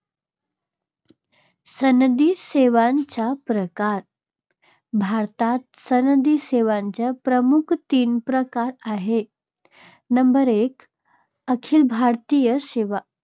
सनदी सेवांचे प्रकार- भारतात सनदी सेवाचे प्रमुख तीन प्रकार आहेत. नंबर एक अखिल भारतीय सेवा